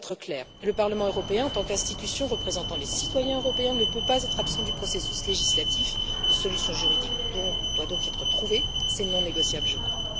Nous voulons être clairs le Parlement européen en tant qu'institution représentant les citoyens européens ne peut pas être absent du processus législatif, une solution juridique doit donc être trouvée, c'est non négociable, je crois.